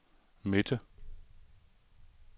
midte